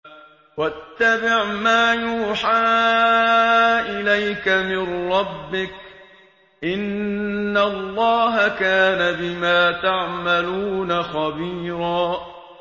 وَاتَّبِعْ مَا يُوحَىٰ إِلَيْكَ مِن رَّبِّكَ ۚ إِنَّ اللَّهَ كَانَ بِمَا تَعْمَلُونَ خَبِيرًا